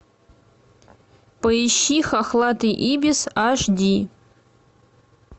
поищи хохлатый ибис аш ди